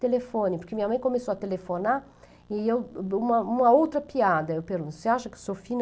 Telefone, porque minha mãe começou a telefonar e eu, uma uma outra piada, eu pergunto, você acha que eu sou fina?